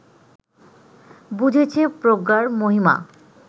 বুঝেছে প্রজ্ঞার মহিমা